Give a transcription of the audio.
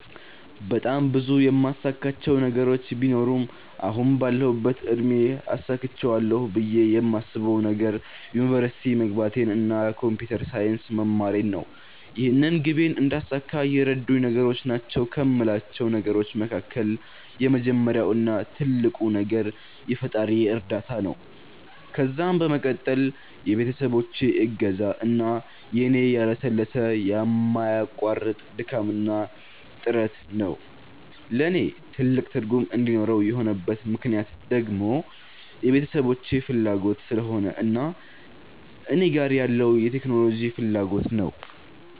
በጣም ብዙ የማሳካቸው ነገሮች ቢኖሩም አሁን ባለሁበት እድሜ አሳክቸዋለሁ ብየ የማስበዉ ነገር ዩኒቨርሲቲ መግባቴን እና ኮንፒተር ሳይንስ መማሬን ነው። ይህንን ግቤን እንዳሳካ የረዱኝ ነገሮች ናቸዉ ከሞላቸው ነገሮች መካከል የመጀመሪያው እና ትልቁ ነገር የፈጣሪየ እርዳታ ነዉ ከዛም በመቀጠል የቤተሰቦቼ እገዛ እና የኔ ያለሰለሰ የማያቋርጥ ድካምና ጥረት ነዉ። ለኔ ትልቅ ትርጉም እንዲኖረው የሆነበት ምክነያት ደግሞ የቤተሰቦቼ ፋላጎት ስለሆነ እና እኔ ጋር ያለዉ የቴክኖሎጂ ፋላጎት ነዉ።